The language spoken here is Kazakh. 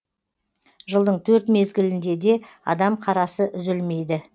жылдың төрт мезгілінде де адам қарасы үзілмейді